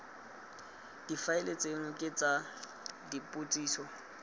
difaele tseno ke tsa dipotsiso